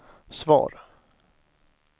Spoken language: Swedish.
svar